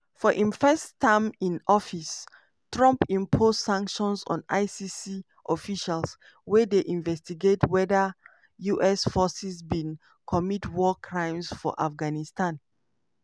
for im first term in office trump impose sanctions on icc officials wey dey investigate whether us forces bin commit war crimes for afghanistan.